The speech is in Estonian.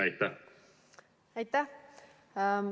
Aitäh!